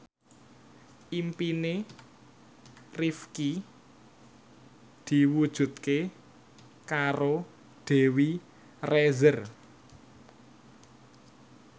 impine Rifqi diwujudke karo Dewi Rezer